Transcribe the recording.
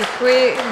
Děkuji.